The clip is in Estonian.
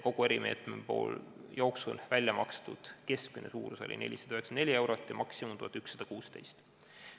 Kogu erimeetme rakendamise jooksul välja makstud toetuste keskmine suurus oli 494 eurot ja maksimaalne suurus 1116 eurot.